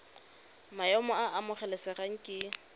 maemo a a amogelesegang ke